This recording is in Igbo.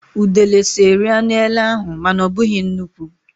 Udele so rie anụ ele ahụ, mana ọ bụghị nnukwu.